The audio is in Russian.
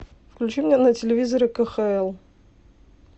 включи мне на телевизоре кхл